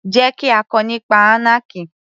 Jẹ́ kí á kọ nípa anarchy